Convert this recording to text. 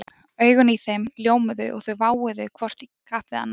Augun í þeim ljómuðu og þau váuðu hvort í kapp við annað